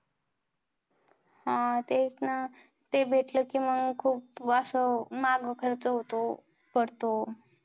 हा तेच ना. ते भेटलं कि मंग खूप असं मागं खर्च होतो, पडतो.